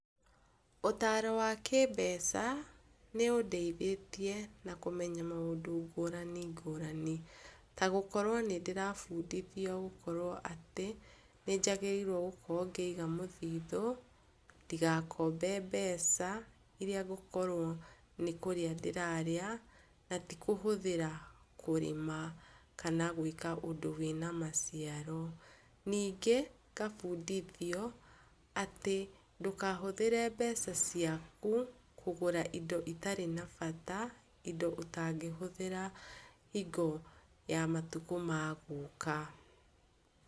Ũtaro wa kĩmbeca nĩ ũndeithĩtie na kũmenya maũndũ ngũrani ngũrani, ta gũkorwo nĩ ndĩrabundithio gũkorwo atĩ, nĩnjagĩrĩirwo gũkorwo ngĩiga mũthithũ, ndigakombe mbeca iria ngũkorwo nĩ kũrĩa ndĩrarĩa, na ti kũhũthĩra kũrĩma kana gwĩka ũndũ wĩna maciaro. Ningĩ ngabundithio atĩ ndũkahũthĩre mbeca ciaku kũgũra indo itarĩ na bata, indo ũtangĩhũthĩra hingo ya matukũ ma gũka.